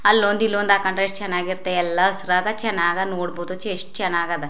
ಅಲ್ಲೊಂದು ಇಲ್ಲೊಂದು ಹಾಕೊಂಡ್ರೆ ಎಷ್ಟ ಚನ್ನಾಗಿರುತ್ತೆ ಎಲ್ಲಾ ಹಸ್ರಾದ್ ಚನ್ನಾಗ್ ನೋಡಬಹುದು ಚೇಸ್ ಚನ್ನಾಗದ --